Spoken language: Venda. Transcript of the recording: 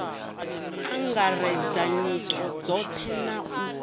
angaredza nyito dzothe na u